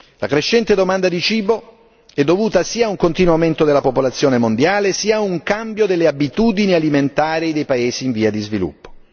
La crescente domanda di cibo è dovuta sia ad un continuo aumento della popolazione mondiale, sia a un cambio delle abitudini alimentari nei paesi in via di sviluppo.